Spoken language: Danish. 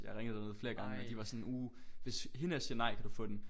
Jeg ringede derned flere gange men de var sådan uh hvis hende her siger nej kan du få den